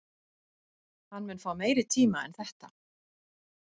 Hann mun fá meiri tíma en þetta?